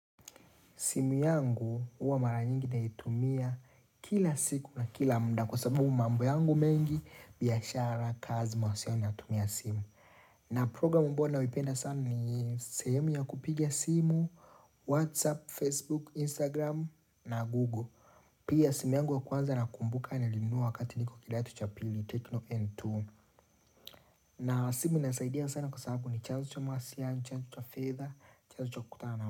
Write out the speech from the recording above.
Simu yangu uwa mara nyingi naitumia kila siku na kila mda. Kwa sababu mambo yangu mengi biashara kazi mawasiliano natumia simu. Na program ambayo nayoipenda sana ni sehemu ya kupiga simu, Whatsapp, Facebook, Instagram na Google. Pia simu yangu ya kwanza na kumbuka nilinua wakati niko katika kidato cha pili, tecno n2 na simu inasaidia sana kwa sababu ni chanzo cha mawasiliano, chanzo cha fedha, chanzo cha kukutana.